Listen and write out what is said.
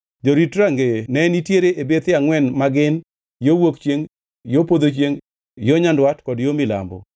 Jorit rangeye ne nitie e bethe angʼwen ma gin: yo wuok chiengʼ, yo podho chiengʼ, yo nyandwat kod yo milambo.